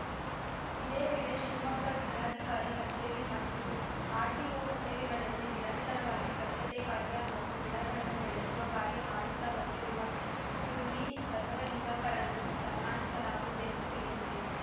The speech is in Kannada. ಇದೇ ವೇಳೆ ಶಿವಮೊಗ್ಗ ಜಿಲ್ಲಾಧಿಕಾರಿ ಕಚೇರಿ ಮತ್ತು ಆರ್‌ಟಿಓ ಕಚೇರಿಗಳಲ್ಲಿ ನಿರಂತರವಾಗಿ ಸ್ವಚ್ಛತೆ ಕಾರ್ಯ ಮತ್ತು ಗಿಡಗಳನ್ನು ಬೆಳೆಸುವ ಕಾರ್ಯ ಮಾಡುತ್ತಾ ಬಂದಿರುವ ದುರ್ಮಿ ಬಸವಲಿಂಗಪ್ಪರನ್ನು ಸನ್ಮಾನಿಸಲಾಗುವುದೆಂದು ತಿಳಿಸಿದೆ